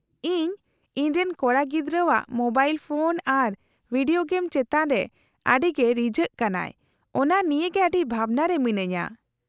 -ᱤᱧ ᱤᱧᱨᱮᱱ ᱠᱚᱲᱟᱜᱤᱫᱽᱨᱟᱹᱣᱟᱜ ᱢᱳᱵᱟᱭᱤᱞ ᱯᱷᱳᱱ ᱟᱨ ᱵᱷᱤᱰᱤᱭᱳ ᱜᱮᱢ ᱪᱮᱛᱟᱱ ᱨᱮ ᱟᱹᱰᱤ ᱜᱮ ᱨᱤᱡᱷᱟᱹᱜ ᱠᱟᱱᱟᱭ ᱚᱱᱟ ᱱᱤᱭᱮ ᱜᱮ ᱟᱹᱰᱤ ᱵᱷᱟᱵᱱᱟ ᱨᱮ ᱢᱤᱱᱟᱹᱧᱟ ᱾